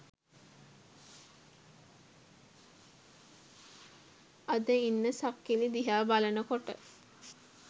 අද ඉන්න සක්කිලි දිහා බලනකොට